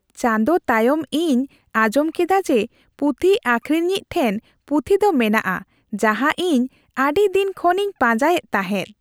ᱪᱟᱸᱫᱚ ᱛᱟᱭᱚᱢ ᱤᱧ ᱟᱸᱡᱚᱢ ᱠᱮᱫᱟ ᱡᱮ ᱯᱩᱛᱷᱤ ᱟᱠᱷᱨᱤᱧᱼᱤᱡ ᱴᱷᱮᱱ ᱯᱩᱛᱷᱤ ᱫᱚ ᱢᱮᱱᱟᱜᱼᱟ ᱡᱟᱦᱟᱸ ᱤᱧ ᱟᱹᱰᱤ ᱫᱤᱱ ᱠᱷᱚᱱ ᱤᱧ ᱯᱟᱸᱡᱟᱭᱮᱫ ᱛᱟᱦᱮᱸᱫ ᱾